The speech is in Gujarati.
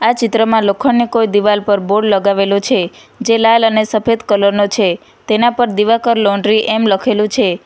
આ ચિત્રમાં લોખંડની કોઈ દિવાલ પર બોર્ડ લગાવેલો છે જે લાલ અને સફેદ કલર નો છે તેના પર દીવાકર લોન્ડ્રી એમ લખેલું છે.